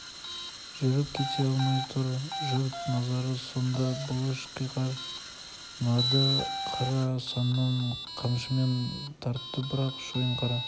жүріп кете алмай тұр жұрт назары сонда бұлыш қиқар нарды қара саннан қамшымен тартты бірақ шойынқара